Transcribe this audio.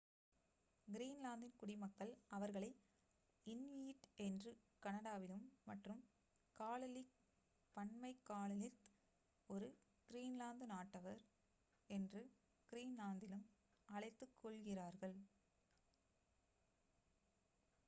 கிரீன்லாந்தின் குடிமக்கள் அவர்களை இன்யுயிட் என்று கனடாவிலும் மற்றும் காலலிக் பன்மை காலலித் ஒரு கிரீன்லாந்து நாட்டவர் என்று கிரீன்லாந்திலும் அழைத்துக் கொள்கிறார்கள்